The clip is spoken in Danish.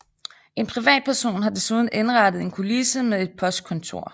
En privatperson har desuden indrettet en kulisse med et postkontor